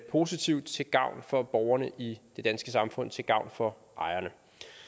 positivt til gavn for borgerne i det danske samfund til gavn for ejerne